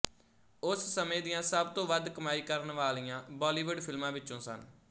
ਉਸ ਸਮੇਂ ਦੀਆਂ ਸਭ ਤੋਂ ਵੱਧ ਕਮਾਈ ਕਰਨ ਵਾਲਿਆਂ ਬਾਲੀਵੁੱਡ ਫਿਲਮਾਂ ਵਿੱਚੋਂ ਸਨ